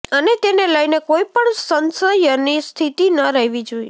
અને તેને લઈને કોઈ પણ સંશયની સ્થિતિ ન રહેવી જોઈએ